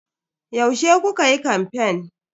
Yaushe kukayi kamfen?